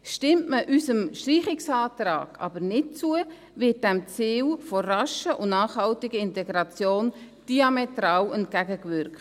Stimmt man unserem Streichungsantrag aber nicht zu, wird diesem Ziel der raschen und nachhaltigen Integration diametral entgegengewirkt.